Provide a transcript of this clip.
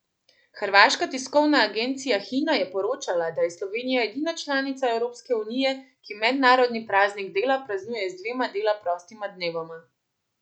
Hrvaška tiskovna agencija Hina je poročala, da je Slovenija edina članica Evropske unije, ki mednarodni praznik dela praznuje z dvema dela prostima dnevoma.